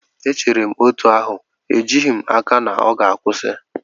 Echere m otú ahụ, ejighị m n'aka na ọ ga-akwụsị.